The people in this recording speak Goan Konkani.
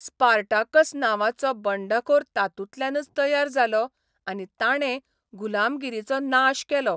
स्पार्टाकस नांवाचो बंडखोर तातूंतल्यानच तयार जालो आनी ताणे गुलामगिरीचो नाश केलो.